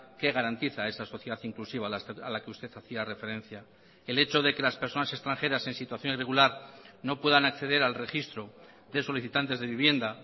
que garantiza esa sociedad inclusiva a la que usted hacía referencia el hecho de que las personas extranjeras en situación irregular no puedan acceder al registro de solicitantes de vivienda